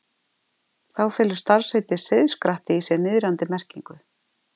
Þá felur starfsheitið seiðskratti í sér niðrandi merkingu.